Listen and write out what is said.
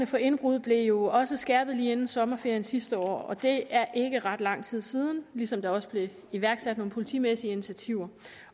for indbrud blev jo også skærpet lige inden sommerferien sidste år det er ikke ret lang tid siden ligesom der også blev iværksat nogle politimæssige initiativer